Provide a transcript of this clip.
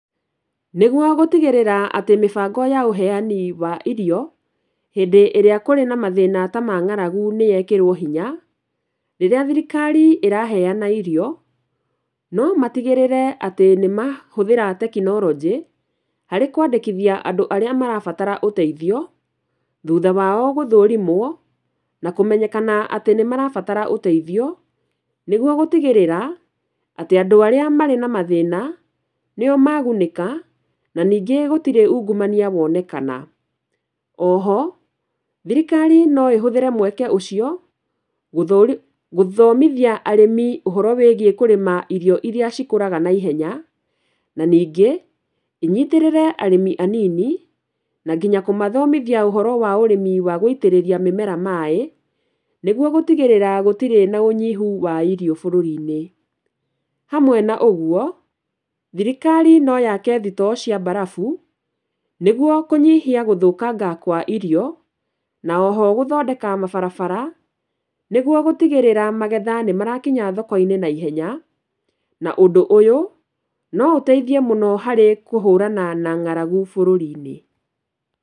Nĩguo gũtigĩrĩra atĩ mĩbango ya ũheani wa irio hĩndĩ ĩrĩa kũrĩ na mathĩna ta mang'aragu nĩ yekĩrwo hinya, rĩrĩa thirikari ĩraheana irio, no matigĩrĩre atĩ nĩ mahũthĩra tekinoronjĩ, harĩ kwandĩkithia andũ arĩa marabatara ũteithio, thutha wao gũthũrimwo na kũmenyekana atĩ nĩ marabatara ũteithio, nĩguo gũtigĩrĩra atĩ andũ arĩa marĩ na mathĩna, nĩo magunĩka, na ningĩ gũtirĩ ungumania wonekana, oho, thirikari no ĩhũthĩre mweke ũcio gũthomithia arĩmi ũhoro wĩgiĩ irio iria cikũraga naihenya, na ningĩ, inyitĩrĩre arĩmi anini, na nginya kũmathomithia ũhoro wa ũrĩmi wa gũitĩrĩrria mĩmera maĩ, nĩguo gũtigĩrĩra gũtirĩ na ũnyihu wa irio bũrũri-inĩ. Hamwe na ũguo, thirikari no yakee thitoo cia mbarafu, nĩguo kũnyihia gũthũkanga kwa irio, na oho gũthondeka mabarabara, nĩguo gũtigĩrĩra magetha nĩ marakinya thoko-inĩ naihenya, na ũndũ ũyũ, no ũteithie mũno harĩ kũhũrana na ng'aragu bũrũri-inĩ.